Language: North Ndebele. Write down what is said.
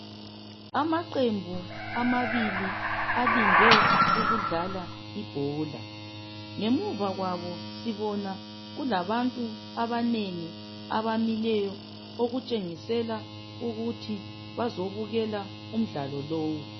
Amaqembu amabili alinde ukudlala ibhola. Ngemuva kwabo sibona kulabantu abanengi abamileyo okutshengisela ukuthi bazobukela umdlalo lowu.